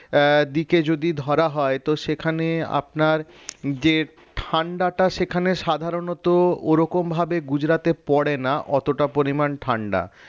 আহ দিকে যদি ধরা যায় তো সেখানে আপনার যে ঠান্ডাটা সেখানে সাধারণত ওরকম ভাবে গুজরাটে পড়ে না অতটা পরিমাণ ঠান্ডা